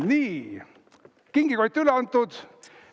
Nii, kingikott üle antud.